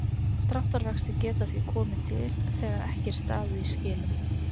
Dráttarvextir geta því komið til þegar ekki er staðið í skilum.